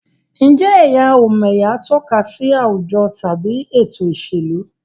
Ǹjẹ́ ẹ̀yà-ò-m'ẹ̀yà tọ́ka sí àwùjọ tàbí ètò ìṣèlú?